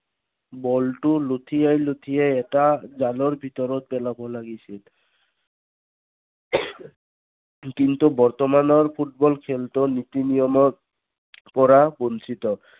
বলটো লূটিয়াই লুটিয়াই এটা জালৰ ভিতৰত পেলাব লাগিছিল। বৰ্তমানৰ ফুটবল খেলতো পৰা বঞ্চিত